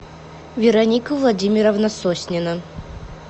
вероника владимировна соснина